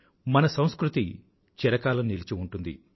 మన సంస్కృతి చిరకాలం నిలిచి ఉంటుంది